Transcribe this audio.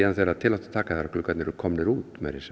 þegar til átti að taka þegar gluggarnir voru komnir út meira að segja